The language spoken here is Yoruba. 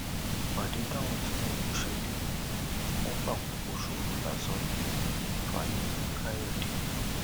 ìpàdé táwọn tìǹbù ṣe lẹkẹọ yẹn wọn fàkókò ṣòfò lásán ní fanikàyọdé